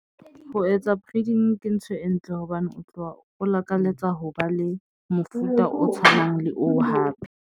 Ho etsa breeding ke ntho e ntle hobane o tloha o lakaletsa ho ba le mofuta o tshwanang le oo hape.